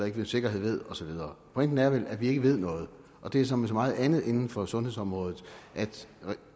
ikke med sikkerhed ved og så videre pointen er vel at vi ikke ved noget og det er som med så meget andet inden for sundhedsområdet at